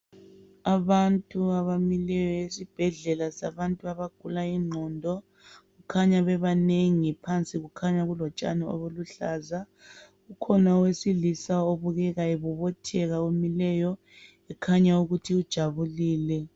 Abantu abamileyo esibhedlela sabantu abagula ingqondo. Kukhanya bebanengi phansi kulotshani obuluhlaza. Kulowesilisa obobothekayo okukhanya ukuthi ujabulile.